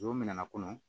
Don min na a kɔnɔ